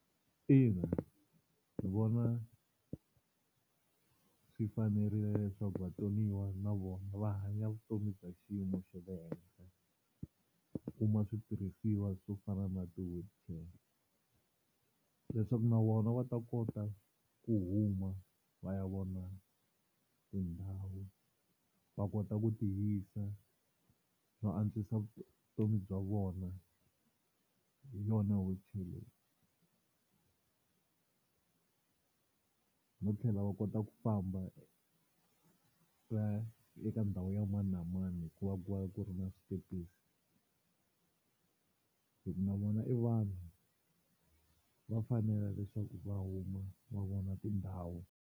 Ina ndzi vona swi fanerile leswaku vatsoniwa na vona va hanya vutomi bya xiyimo xa le henhla, u kuma switirhisiwa swo fana na ti-wheelchair leswaku na vona va ta kota ku huma va ya vona tindhawu va kota ku tiyisa no antswisa vutomi bya vona, hi yona wheelchair leyi. No tlhela va kota ku famba va ya eka ndhawu ya mani na mani hikuva ku va ku ri na switepisi hi ku na vona i vanhu va fanela leswaku va huma va vona tindhawu.